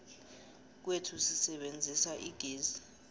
kwethu sisebenzisa igezi